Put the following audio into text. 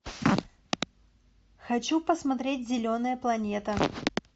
хочу посмотреть зеленая планета